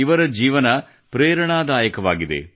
ಇವರ ಜೀವನ ಪ್ರೇರಣಾದಾಯಕವಾಗಿದೆ